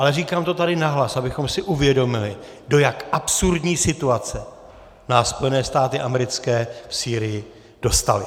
Ale říkám to tady nahlas, abychom si uvědomili, do jak absurdní situace nás Spojené státy americké v Sýrii dostaly.